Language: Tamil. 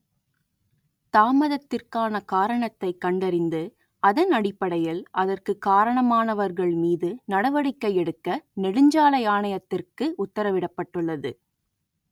தாமதத்திற்கான காரணத்தை கண்டறிந்து அதன் அடிப்படையில் அதற்கு காரணமானவர்கள் மீது நடவடிக்கை எடுக்க நெடுஞ்சாலை ஆணையத்திற்கு உத்தரவிடப்பட்டுள்ளது